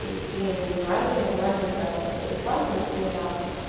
и блин ну реально и нормально брали по рекламе ни хрена